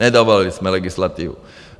Nedovolili jsme legislativu.